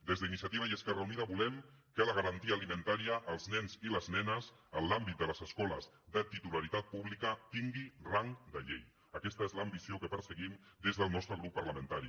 des d’iniciativa i esquerra unida volem que la garantia alimentària als nens i les nenes a l’àmbit de les escoles de titularitat pública tingui rang de llei aquesta és l’ambició que perseguim des del nostre grup parlamentari